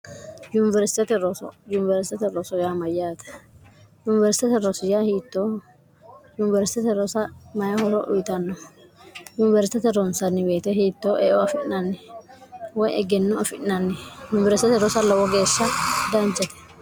yuniwersitete rosyaa mayyaate yuniwersitete rosya hiittoo yuniersitete rosa mayi horo uyitanno yuniwersitete ronsanni weete hiittoo eo afi'nanni way egennoo afi'nanni yunibersitete rosa lowo geeshsha daanjate